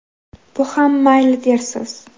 Bu ham mayli dersiz.